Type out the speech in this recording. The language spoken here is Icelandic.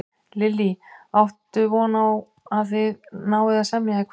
Lillý: Áttu von á að þið náið að semja í kvöld?